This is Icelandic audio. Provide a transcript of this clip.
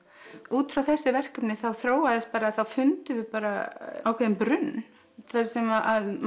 út frá þessu verkefni þróaðist þá fundum við bara ákveðinn brunn þar sem